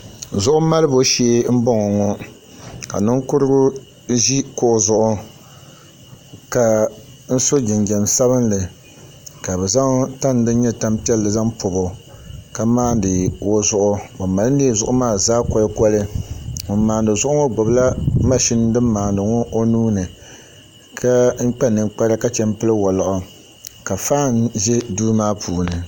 Zuɣu malibo shee n boŋo ŋo ka ninkurigu ʒi kuɣu zuɣu ka so jinjɛm sabinli ka bi zaŋ tani din nyɛ tani piɛlli zaŋ pobo ka maandi o zuɣu o mali nee zuɣu maa zaa koli koli ŋun maandi zuɣu ŋo gbubila mashin din maandi ŋo o zuɣu ni ka kpa ninkpara ka pili woliɣi ka faan ʒɛ o duu maa puuni